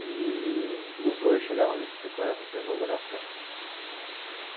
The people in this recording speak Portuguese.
E os dois chegaram de bicicleta para a inauguração.